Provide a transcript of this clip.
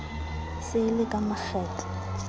se e le ka makgetlo